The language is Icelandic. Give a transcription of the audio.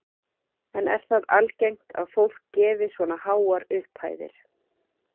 En er það algengt að fólk gefi svona háar upphæðir?